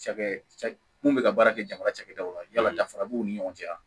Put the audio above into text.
Cakɛ mun bɛ ka baara kɛ jamana cakɛdaw la yala danfara b'u ni ɲɔgɔn cɛ yan